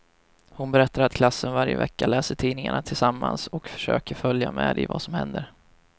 Hon berättar att klassen varje vecka läser tidningarna tillsammans och försöker följa med i vad som händer.